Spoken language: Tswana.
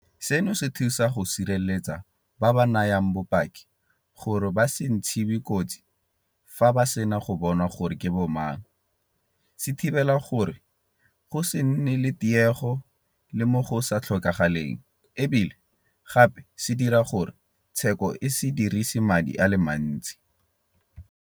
Seno se thusa go sireletsa ba ba nayang bopaki gore ba se ntshiwe kotsi fa ba sena go bonwa gore ke bo mang, se thibela gore go se nne le tiego le mo go sa tlhokagaleng e bile gape se dira gore tsheko e se dirisi madi a le mantsi.